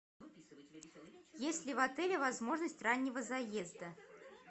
есть ли в отеле возможность раннего заезда